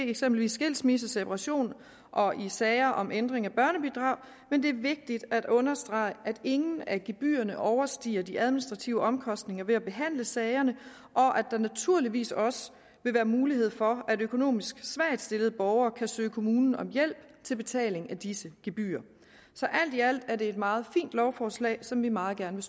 eksempelvis skilsmisse separation og i sager om ændring af børnebidrag men det er vigtigt at understrege at ingen af gebyrerne overstiger de administrative omkostninger ved at behandle sagerne og at der naturligvis også vil være mulighed for at økonomisk svagt stillede borgere kan søge kommunen om hjælp til betaling af disse gebyrer så alt i alt er det et meget fint lovforslag som vi meget gerne